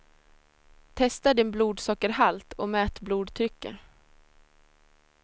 Testa din blodsockerhalt och mät blodtrycket.